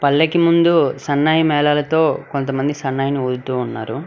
పల్లకి ముందు సన్నాయి మేళాలతో కొంతమంది సన్నాయిని ఊదుతూ ఉన్నారు.